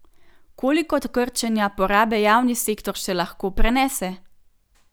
Koliko krčenja porabe javni sektor še lahko prenese?